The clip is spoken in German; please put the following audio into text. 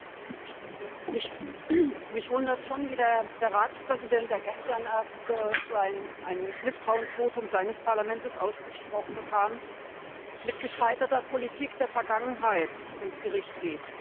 Herr Präsident! Mich wundert schon, wie der Ratspräsident, der gestern erst ein Misstrauensvotum seines Parlaments ausgesprochen bekam, mit der gescheiterten Politik der Vergangenheit ins Gericht geht.